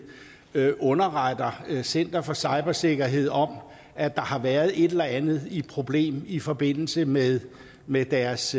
der underretter center for cybersikkerhed om at der har været et eller andet problem i forbindelse med med deres